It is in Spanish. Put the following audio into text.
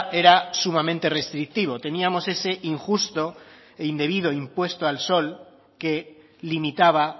era sumamente restrictivo teníamos ese injusto e indebido impuesto al sol que limitaba